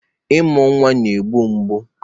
Ịmụ nwa na-egbu mgbu